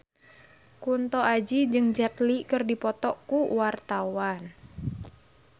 Kunto Aji jeung Jet Li keur dipoto ku wartawan